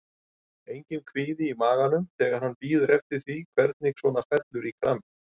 Enginn kvíði í maganum þegar maður bíður eftir því hvernig svona fellur í kramið?